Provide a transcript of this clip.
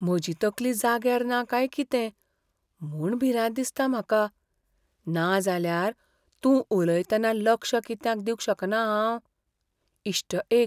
म्हजी तकली जाग्यार ना काय कितें म्हूण भिरांत दिसता म्हाका, नाजाल्यार तूं उलयतना लक्ष कित्याक दिवंक शकना हांव? इश्ट एक